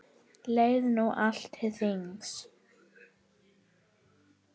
Leið nú allt til þings.